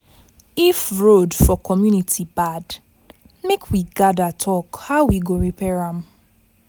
If road for community bad, make we gather talk how we go repair am.